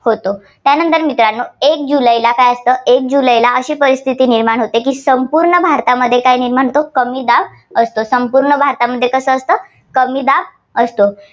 होतो. त्यानंतर मित्रांनो एक जूनला पहिला काय असतं? एक जुलैला अशी परिस्थिती निर्माण होते की संपूर्ण भारतामध्ये काय निर्माण होतो कमी दाब असतो. संपूर्ण भारतामध्ये कसं असतं कमी दाब असतो.